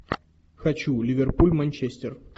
хочу ливерпуль манчестер